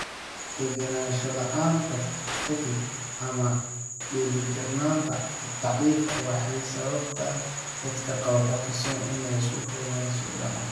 Degenaansho la'aanta ka dib, ama dheelitirnaanta daciifka ah, waxay sababtaa dadka qaba Parkinson inay si fudud u dhacaan.